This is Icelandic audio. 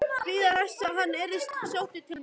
Bíða þess að hann yrði sóttur til mín?